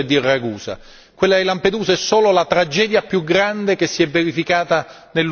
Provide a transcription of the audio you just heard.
Quella di Lampedusa è solo la tragedia più grande che si è verificata nell'ultimo periodo.